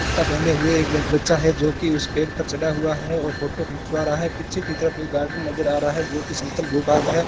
कुर्ता पहने हुए एक ब बच्चा है जो कि उस पेड़ पर चढ़ा हुआ है और फोटो खिंचवा रहा है पीछे की तरफ एक गार्डन नजर आ रहा है जो की समतल भू भाग है।